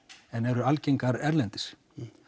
en eru algengar erlendis